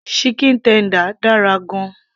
chicken tender dára gan -an